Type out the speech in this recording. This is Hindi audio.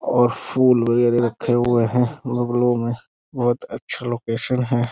और फूल वगैरा रखे हुए हैं गमलों में। बहुत अच्छा लोकेशन है।